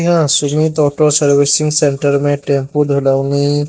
यहां Sumit auto servicing centre में टेम्पों